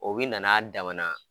O bi na n'a dama